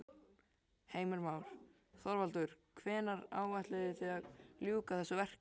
Heimir Már: Þorvaldur hvenær áætlið þið að ljúka þessu verki?